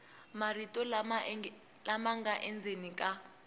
marito lama nga endzeni ka